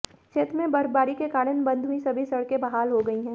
क्षेत्र में बर्फबारी के कारण बंद हुई सभी सड़कें बहाल हो गई हैं